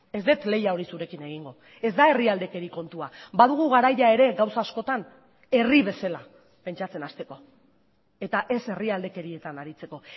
ez dut lehia hori zurekin egingo ez da herrialdekeri kontua badugu garaia ere gauza askotan herri bezala pentsatzen hasteko eta ez herrialdekerietan aritzeko